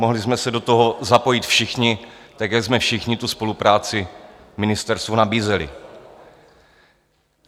Mohli jsme se do toho zapojit všichni, tak jak jsme všichni tu spolupráci ministerstvu nabízeli.